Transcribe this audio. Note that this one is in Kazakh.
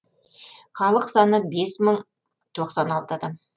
халық саны бес мың тоқсан алты адам